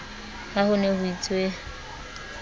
ha ho ne ho itswe